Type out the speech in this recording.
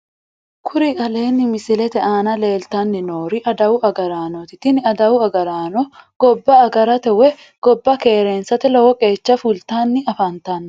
Kuri aleenni misilete aana leeltanni noori adawu agaraanooti tini adawu agaraano gobba agarate woyi gobba keereensate lowo qeecha fultanni afantanno